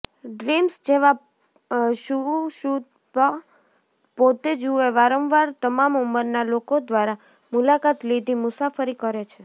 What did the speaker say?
dreams જેમાં સુષુપ્ત પોતે જુએ વારંવાર તમામ ઉંમરના લોકો દ્વારા મુલાકાત લીધી મુસાફરી કરે છે